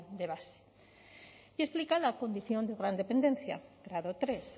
de base y explica la condición de gran dependencia grado tres